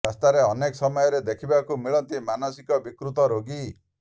ରାସ୍ତାରେ ଅନେକ ସମୟରେ ଦେଖିବାକୁ ମିଳନ୍ତି ମାନସିକ ବିକୃତ ରୋଗୀ